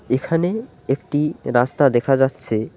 এখানে একটি রাস্তা দেখা যাচ্ছে।